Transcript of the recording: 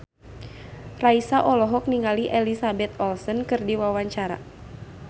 Raisa olohok ningali Elizabeth Olsen keur diwawancara